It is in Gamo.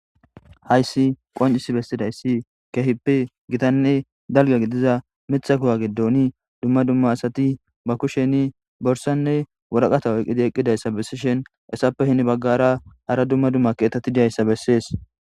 hayssi qoncis bessidayssi keehippe gitanne dalga gidiza mithakowa gidoni dumma dumma asati ba kusheni borsanne woraqatawo eqqidi eqqidayssa bessishen essappe hini baggara hara dumma dumma keetati diyayssa bessees